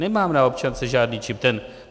Nemám na občance žádný čip.